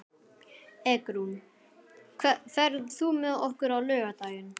Eggrún, ferð þú með okkur á laugardaginn?